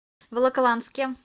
волоколамске